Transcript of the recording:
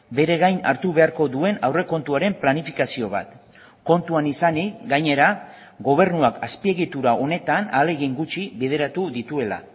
bere gain hartu beharko duen aurrekontuaren planifikazio bat kontuan izanik gainera gobernuak azpiegitura honetan ahalegin gutxi bideratu dituela